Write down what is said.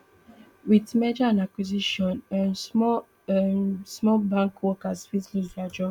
wit merger and acquisition um small um small bank workers fit lose dia job